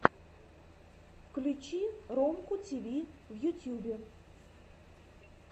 включи ромку тиви в ютьюбе